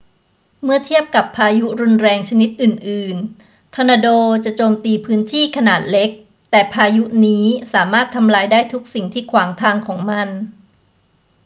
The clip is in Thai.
เมื่อเทียบกับพายุรุนแรงชนิดอื่น ๆ ทอร์นาโดจะโจมตีพื้นที่ขนาดเล็ก แต่พายุนี้สามารถทำลายได้ทุกสิ่งที่ขวางทางของมัน